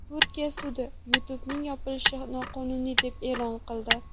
Turkiya sudi YouTube’ning yopilishini noqonuniy deb e’lon qildi.